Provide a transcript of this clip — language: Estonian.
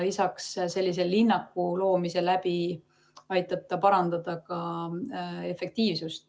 Lisaks, sellise linnaku loomine aitab parandada ka efektiivsust.